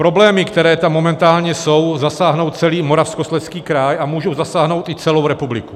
Problémy, které tam momentálně jsou, zasáhnou celý Moravskoslezský kraj a můžou zasáhnout i celou republiku.